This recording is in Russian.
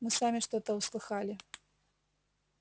мы сами что-то услыхали